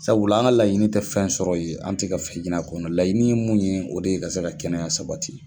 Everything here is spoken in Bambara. Sabula an ka laɲini tɛ fɛn sɔrɔ ye an tɛ ka fɛn ɲini a kɔnɔ laɲini ye mun ye o de ye ka se ka kɛnɛya sabati.